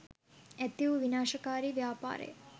ඇති වූ විනාශකාරී ව්‍යාපාර ය.